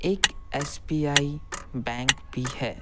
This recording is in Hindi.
एक एस_बी_आई बैंक भी है।